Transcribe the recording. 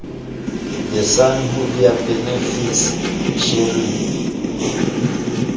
the san hoodia benefit sharing